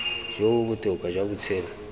jo bo botoka jwa botshelo